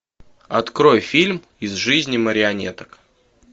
открой фильм из жизни марионеток